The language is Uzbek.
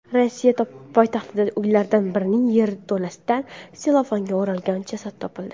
Rossiya poytaxtidagi uylardan birining yerto‘lasidan sellofanga o‘ralgan jasad topildi.